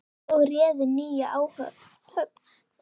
og réðu nýja áhöfn.